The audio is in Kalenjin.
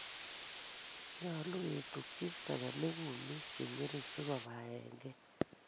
nyolu ketukchi segemik kumik che ng'ering si kobaenkei